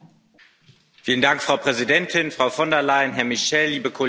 Frau Präsidentin, Frau von der Leyen, Herr Michel, liebe Kolleginnen und Kollegen!